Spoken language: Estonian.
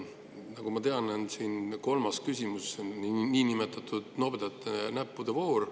Nagu ma tean, on kolmas küsimus niinimetatud nobedate näppude voor.